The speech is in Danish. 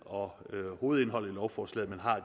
og hovedindholdet i lovforslaget men har